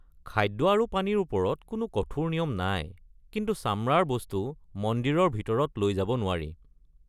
খাদ্য আৰু পানীৰ ওপৰত কোনো কঠোৰ নিয়ম নাই, কিন্তু চামৰাৰ বস্তু মন্দিৰৰ ভিতৰত লৈ যাব নোৱাৰি।